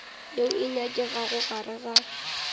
yeo e nyakegago gare ga